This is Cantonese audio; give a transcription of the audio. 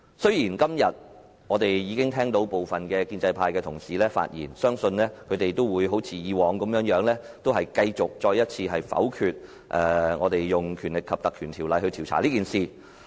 雖然今天我們已經聽到部分建制派同事發言，但相信他們都會像以往一樣，再次否決引用《條例》調查事件的議案。